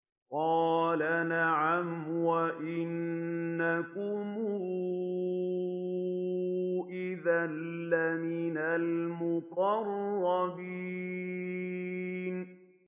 قَالَ نَعَمْ وَإِنَّكُمْ إِذًا لَّمِنَ الْمُقَرَّبِينَ